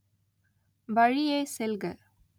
வழியே செல்க